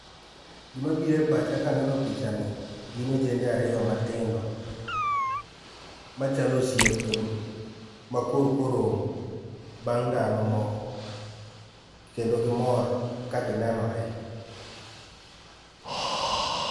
Gima bire pacha kaneno picha ni gin ojende ariyo matindo machalo osiepe ma korko romo bang' ndalo moko kendo gimor ka ginenore.